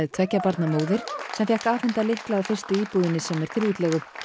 tveggja barna móðir sem fékk afhenta lykla að fyrstu íbúðinni sem fer í útleigu